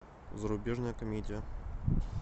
зарубежная комедия